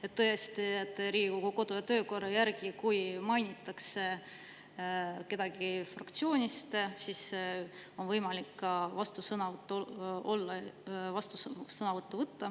Riigikogu kodu- ja töökorra järgi on nii, et kui mainitakse kedagi fraktsioonist, siis on vastusõnavõtu võimalus.